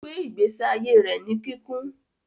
Ogbe igbesi aiye rẹ ní kikún